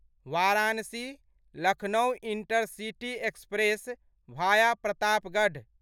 Varanasi Lucknow intercity express via Pratapgarh